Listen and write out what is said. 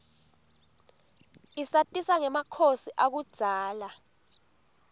isatisa ngemakhosi akudzala